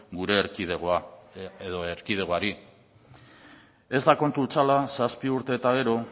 gure erkidegoari ez da kontu hutsala zazpi urte eta gero